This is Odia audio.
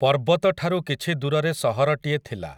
ପର୍ବତଠାରୁ କିଛି ଦୂରରେ ସହରଟିଏ ଥିଲା ।